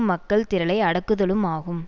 மக்கள் திரளை அடக்குதலும் ஆகும்